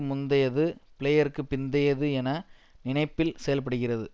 முந்தையது பிளேயருக்கு பிந்தையது என நினைப்பில் செயல்படுகிறது